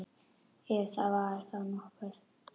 Ef það var þá nokkuð.